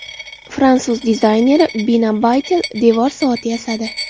Fransuz dizayneri Bina Baytel devor soati yasadi.